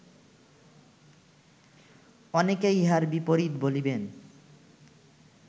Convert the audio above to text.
অনেকে ইহার বিপরীত বলিবেন